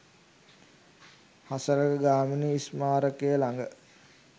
හසලක ගාමිණී ස්මාරකය ළඟ